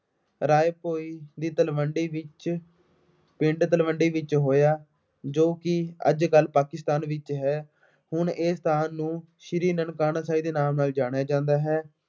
ਰਾਏ ਭੋਏ ਦੀ ਤਲਵੰਡੀ ਵਿੱਚ ਪਿੰਡ ਤਲਵੰਡੀ ਵਿੱਚ ਹੋਇਆ। ਜੋ ਕਿ ਅੱਜ ਕੱਲ੍ਹ ਪਾਕਿਸਤਾਨ ਵਿੱਚ ਹੈ। ਹੁਣ ਇਹ ਸਥਾਨ ਨੂੰ ਸ਼੍ਰੀ ਨਨਕਾਣਾ ਸਾਹਿਬ ਦੇ ਨਾਮ ਨਾਲ ਜਾਣਿਆ ਜਾਂਦਾ ਹੈ।